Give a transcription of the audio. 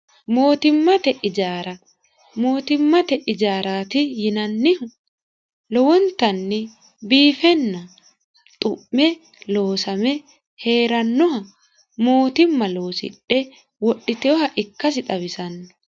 mootimmate ijaara mootimmate ijaaraati yinannihu lowontanni biifenna xu'me loosame hee'rannoha mootimma loosidhe wodhiteoha ikkasi xawisanno